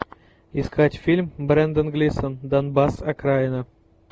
искать фильм брендан глисон донбасс окраина